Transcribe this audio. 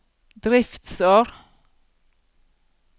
driftsår